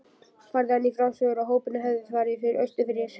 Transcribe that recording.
Færði hann í frásögur að hópurinn hefði farið austurfyrir